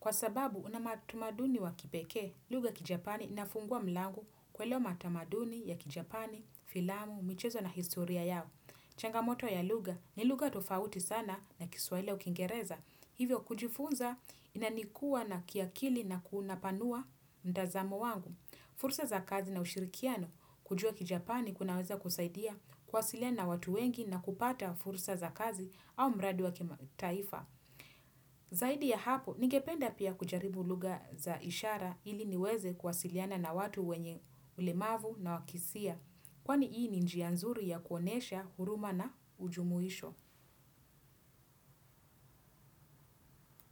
Kwa sababu una matamaduni wa kipekee, lugha kijapani inafungua mlango kuelewa matamaduni ya kijapani, filamu, michezo na historia yao. Changamoto ya lugha ni lugha tofauti sana na kiswahili au kiingereza. Hivyo kujifunza inanikuwa na kiakili na kunapanua mtazamo wangu. Fursa za kazi na ushirikiano kujua kijapani kunaweza kusaidia kuwasiliana na watu wengi na kupata fursa za kazi au mradi wa kimataifa. Zaidi ya hapo, ningependa pia kujaribu lugha za ishara ili niweze kuwasiliana na watu wenye ulemavu na wakisia. Kwani hii ni njia nzuri ya kuonyesha huruma na ujumuisho.